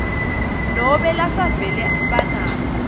nobe lasevele banato